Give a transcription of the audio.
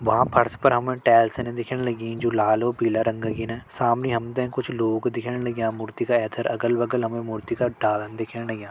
भवां फर्श पर हमण टैल्सन दिखेण लगीं जु लाल उ पीला रंग किना सामनि हम तें कुछ लोग दिखेण लग्यां मूर्ति क ऐथर अगल-बगल हमें मूर्ति का डालन दिखेण लग्यां।